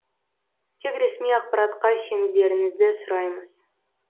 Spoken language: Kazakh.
тек ресми ақпаратқа сенулеріңізді сұраймыз